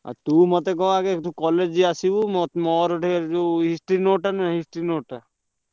ନା ଆଉ ତୁ ମତେ କହ ଆଗେ ତୁ college ଆସିବୁ ~ମୋ ମୋର ଟିକେ History note ଟା ନୁହଁ History ।